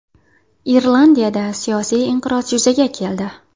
Irlandiyada siyosiy inqiroz yuzaga keldi.